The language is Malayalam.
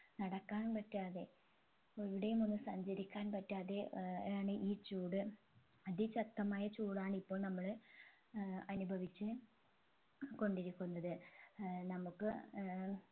നടക്കാനും പറ്റാതെ എവിടെയും ഒന്ന് സഞ്ചരിക്കാൻ പറ്റാതെ ഏർ ആണ് ഈ ചൂട് അതി ശക്തമായ ചൂടാണ് ഇപ്പോൾ നമ്മൾ ഏർ അനുഭവിച്ച് കൊണ്ടിരിക്കുന്നത് ഏർ നമ്മുക്ക് ഏർ